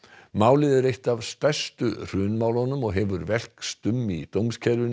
málið er eitt af stærstu hrunmálunum og hefur velkst um í dómskerfinu